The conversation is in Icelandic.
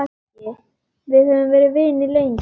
Við höfum verið vinir lengi.